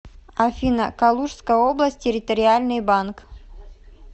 афина калужская область территориальный банк